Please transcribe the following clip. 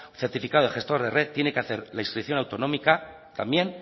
certificado de gestor de red tiene que hacer la inscripción autonómica también